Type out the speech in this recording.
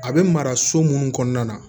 A bɛ mara so minnu kɔnɔna na